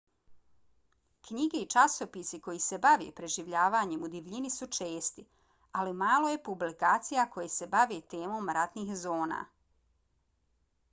knjige i časopisi koji se bave preživljavanjem u divljini su česti ali malo je publikacija koje se bave temom ratnih zona